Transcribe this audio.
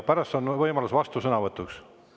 Pärast on võimalus vastusõnavõtuks.